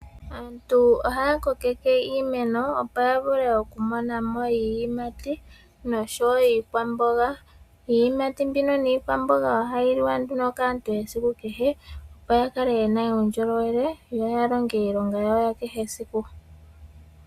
Aantu ohaya kokeke iimeno, opo ya vule okumona mo iiyimati, nosho wo iikwamboga, iiyimati mbika niikwamboga ohayi liwa nduno kaantu esiku kehe, opo ya kale yena uundjolowele, yo ya longe iilonga yawo ya kehe esiku.